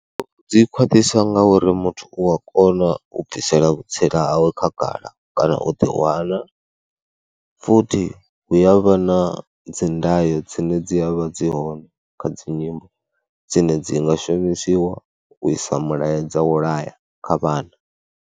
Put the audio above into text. U dzi khwaṱhiswa ngauri muthu u a kona u bvisela vhutsila hawe khagala kana u ḓiwana, futhi hu ya vha na dzi ndayo dzine dzi a vha dzi hone kha dzi nyimbo dzine dzi nga shumisiwa u isa mulaedza wa u laya kha vhana.